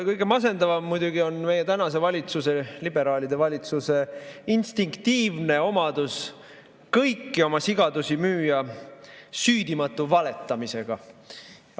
Kõige masendavam muidugi on meie tänase valitsuse, liberaalide valitsuse instinktiivne omadus kõiki oma sigadusi müüa süüdimatu valetamisega.